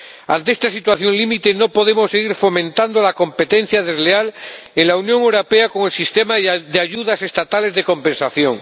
Ante esta situación límite, no podemos seguir fomentando la competencia desleal en la Unión Europea con el sistema de ayudas estatales de compensación.